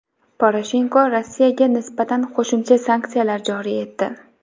Poroshenko Rossiyaga nisbatan qo‘shimcha sanksiyalar joriy etdi.